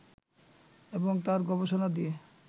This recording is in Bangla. এবং তাঁর গবেষণা দিয়ে